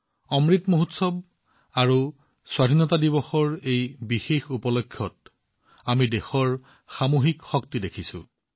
অমৃত মহোৎসৱ আৰু স্বাধীনতা দিৱসৰ এই বিশেষ পৰ্ব উপলক্ষে আমি দেশৰ সামূহিক শক্তি দেখিছো